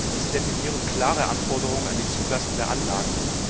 Diese definieren klare Anforderungen an die Zulassung der Anlagen.